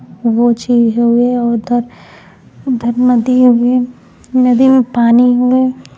वह चीज हये। उधर उधर नदी हवे। नदी में पानी हवे।